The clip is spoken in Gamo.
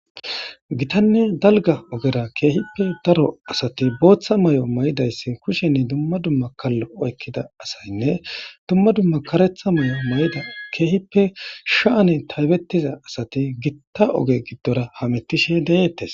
Githanne dalga ogera kehippe daro asati botha mayo mayidayisi kushen duma duma kalo oyikida asayinne duma duma karetha mayo mayidi kehippe sha,ani tayibetiza asati githa oge gidora tayibetishe detess